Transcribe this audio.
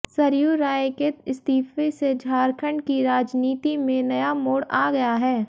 सरयू राय के इस्तीफे से झारखंड की राजनीति में नया मोड़ आ गया है